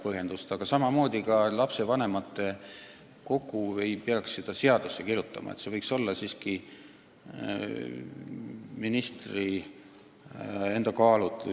Komisjoni koosseisu ei peaks seadusesse kirjutama, see võiks olla ministri kaalutleda.